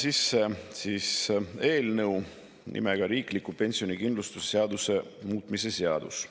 Annan sisse eelnõu nimega "Riikliku pensionikindlustuse seaduse muutmise seadus".